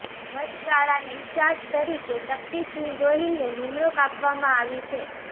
વચગાળાના ઈન્ચાર્જ તરીકે શકિતસિંહ ગોહિલને નિમણુંક આપવામાં આવી છે